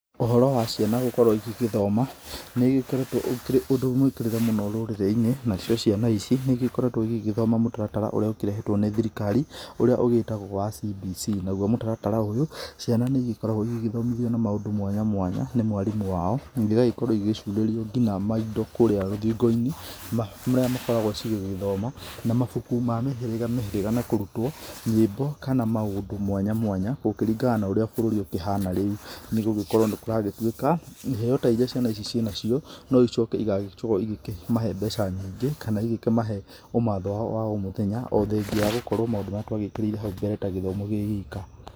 Ũhoro wa ciana gũkorwo igĩgĩthoma nĩ ũkoretwo ũkĩrĩ ũndũ mũĩkĩrĩre mũni rũrĩrĩ-inĩ, na cio ciana ici nĩ ĩgĩkoretwo ĩgĩgĩthoma mũtaratara ũrĩa ũkĩrehetwo nĩ thirikari, ũrĩa ũgĩtagwo wa CBC nagũo mũtaratara ũyu, ciana nĩ ĩgĩkoragwo ĩgĩthomithio na maũndũ mwanya mwanya, nĩ mwarimũ wao, ĩgagĩkorwo ĩgĩcurĩrio nginya maindo kũrĩa rũthingo-inĩ, marĩa makoragwo cigĩgĩthoma, na mabuku ma mĩhĩriga mĩhĩrĩga, na kũrutwo nyĩmbo kana maũndũ mwanya mwanya, gũkĩringana na ũrĩa bũrũri ũkĩhana rĩu, nĩ gũgĩkorwo nĩ kũragĩtuĩka, iheo ta iria ciana ici ciĩnacio, no icoke igagĩkorwo ikamahe mbeca nyingĩ, kana igĩkĩmahe ũmatho wao wa o mũthenya, o thengiĩ ya gũkorwo maũndũ marĩa twagĩkĩrĩire hau mbere ta gĩthomo kĩ wika.